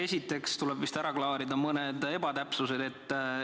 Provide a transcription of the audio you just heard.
Esiteks tuleb vist ära klaarida mõned ebatäpsused.